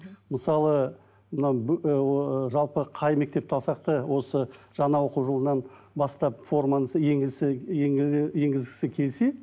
мысалы мынау ыыы жалпы қай мектепті алсақ та осы жаңа оқу жылынан бастап енгізгісі келсе